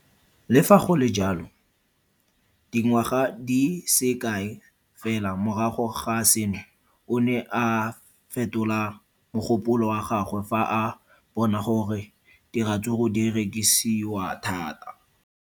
Le fa go le jalo, dingwaga di se kae fela morago ga seno, o ne a fetola mogopolo wa gagwe fa a bona gore diratsuru di rekisiwa thata.